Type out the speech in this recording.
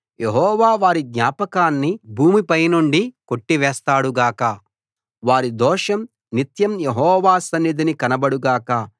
యెహోవా వారి జ్ఞాపకాన్ని భూమిపై నుండి కొట్టి వేస్తాడు గాక వారి దోషం నిత్యం యెహోవా సన్నిధిని కనబడు గాక